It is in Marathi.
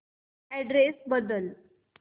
अॅड्रेस बदल